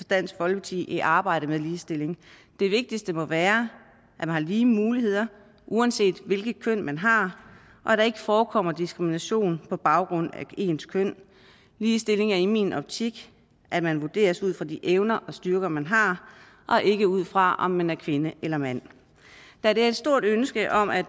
dansk folkeparti i arbejdet med ligestilling det vigtigste må være at man har lige muligheder uanset hvilket køn man har og at der ikke forekommer diskrimination på baggrund af ens køn ligestilling er i min optik at man vurderes ud fra de evner og styrker man har og ikke ud fra om man er kvinde eller mand da der er et stort ønske om at